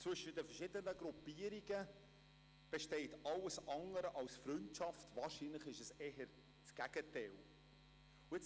Zwischen den verschiedenen Gruppierungen besteht alles andere als Freundschaft, wahrscheinlich ist eher das Gegenteil der Fall.